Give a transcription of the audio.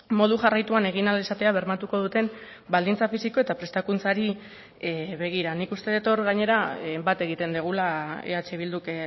modu jarraituan egin ahal izatea bermatuko duten baldintza fisiko eta prestakuntzari begira nik uste dut hor gainera bat egiten dugula eh bilduk